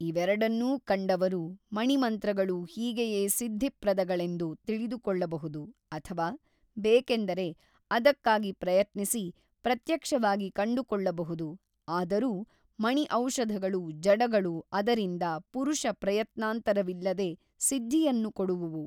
ಇವೆರಡನ್ನೂ ಕಂಡವರು ಮಣಿಮಂತ್ರಗಳೂ ಹೀಗೆಯೇ ಸಿದ್ಧಿಪ್ರದಗಳೆಂದು ತಿಳಿದುಕೊಳ್ಳಬಹುದು ಅಥವಾ ಬೇಕೆಂದರೆ ಅದಕ್ಕಾಗಿ ಪ್ರಯತ್ನಿಸಿ ಪ್ರತ್ಯಕ್ಷವಾಗಿ ಕಂಡುಕೊಳ್ಳಬಹುದು ಆದರೂ ಮಣಿ ಔಷಧಗಳು ಜಡಗಳು ಅದರಿಂದ ಪುರುಷ ಪ್ರಯತ್ನಾಂತರವಿಲ್ಲದೆ ಸಿದ್ಧಿಯನ್ನು ಕೊಡುವುವು.